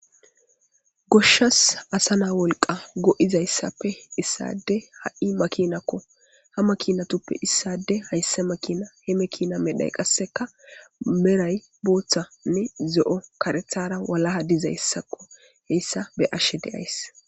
Goshshas asa naa wolqqa go'iza issappe issade ha'i makinakko ha makinatuppe issade haysse makina he mekina medhay qasseka meray booththanne zo'o, karethara walaha diza issakko he issa be'ashe de'ays.